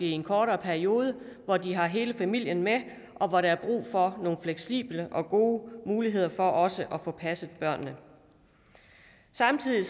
i en kortere periode hvor de har hele familien med og hvor der er brug for nogle fleksible og gode muligheder for også at få passet børnene samtidig